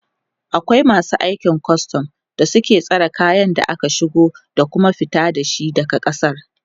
akwai masu aikin custom da suke tsare kayan da ake shigowa da Kuma fita da shi daga kasar